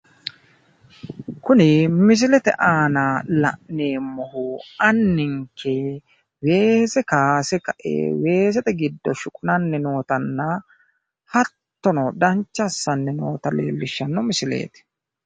kuni misilete aana la'neemmohu anninke weese kaayse ka'e weesete giddo shuqunanni nootana hattono, dancha assanni noota leellishshanno misileeti.